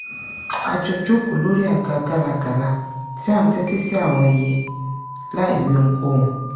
a jọ jókòó lórí àga gálágalà tí à ń tẹ́tí sí àwọn ẹyẹ láìwí ohunkóhun